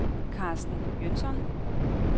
Karsten Jønsson